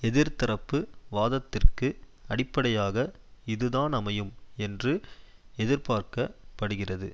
எதிர்தரப்பு வாதத்திற்கு அடிப்படையாக இதுதான் அமையும் என்று எதிர்பார்க்க படுகிறது